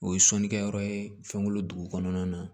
O ye sɔnnikɛ yɔrɔ ye fɛnko dugu kɔnɔna na